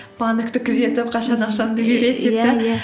банкті күзетіп қашан ақшамды